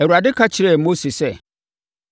Awurade ka kyerɛɛ Mose sɛ,